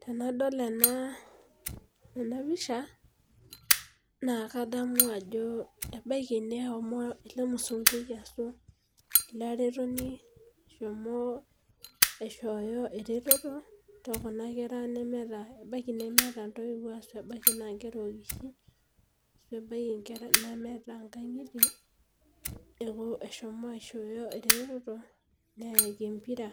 Tenadol enapisha na kadamu ajo ebaki neshomo elmusunkui ashu olaretoni aishoo eretoto tekuna kera ebaki nemeeta ntoiwuo na nkera okishin ashu nemeeta nkangitie neyaki empira